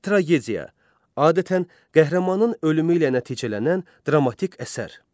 Tragediya adətən qəhrəmanın ölümü ilə nəticələnən dramatik əsər.